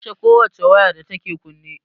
A kashe ko wace waya da take kunne